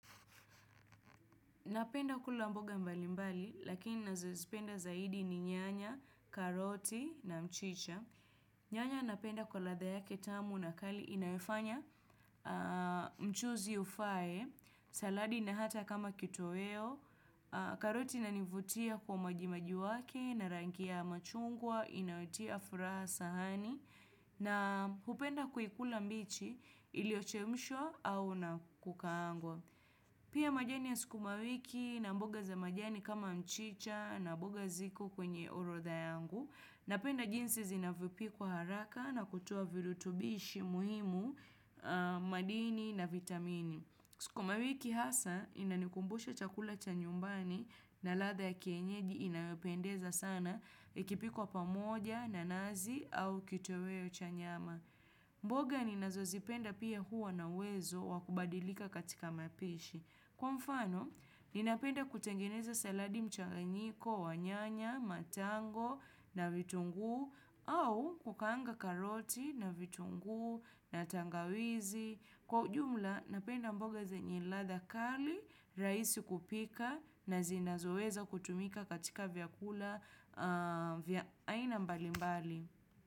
Napenda kula mboga mbali mbali, lakini ninazozipenda zaidi ni nyanya, karoti na mchicha. Nyanya napenda kwa ladha yake tamu na kali inayofanya mchuzi ufae, saladi na hata kama kitoweo, karoti inanivutia kwa maji maji wake, na rangi ya machungwa, inayotia furaha sahani, na hupenda kuikula mbichi iliyochemshwa au na kukaangwa. Pia majani ya sukumawiki na mboga za majani kama mchicha na mboga ziko kwenye orodha yangu napenda jinsi zinavyopikwa haraka na kutoa virutubishi muhimu madini na vitamini. Sukumawiki hasa inanikumbusha chakula cha nyumbani na ladha ya kienyeji inayopendeza sana ikipikwa pamoja na nazi au kitoweo cha nyama. Mboga ninazozipenda pia huwa na uwezo wa kubadilika katika mapishi. Kwa mfano, ninapenda kutengeneza saladi mchangayiko, wa nyanya, matango, na vitunguu, au kukaanga karoti, na vitunguu, na tangawizi. Kwa ujumla, napenda mboga zenye ladha kali, rahisi kupika, na zinazoweza kutumika katika vyakula, vya aina mbalimbali.